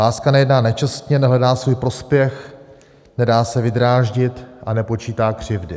Láska nejedná nečestně, nehledá svůj prospěch, nedá se vydráždit a nepočítá křivdy.